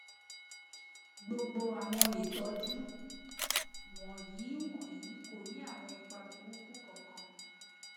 gbogbo awọn itọju wọnyi wọnyi ko ni awọn ipa buruku kankan